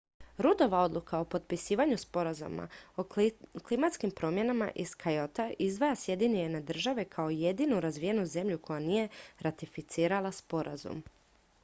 ruddova odluka o potpisivanju sporazuma o klimatskim promjenama iz kyota izdvaja sjedinjene države kao jedinu razvijenu zemlju koja nije ratificirala sporazum